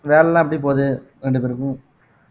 வேலைலாம் எப்படி போகுது இரண்டு பேருக்கும்